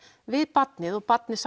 við barnið og barnið